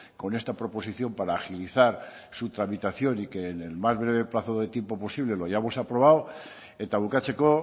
con esta proposición para agilizar su tramitación y que en el más breve plazo de tiempo posible lo hayamos aprobado eta bukatzeko